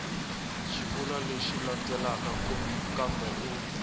xivulwa lexi landzelaka kambe u